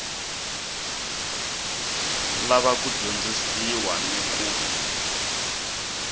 lava ku dyondzisiwa ni ku